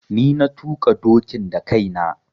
Ni na tuƙa dokin da kai na.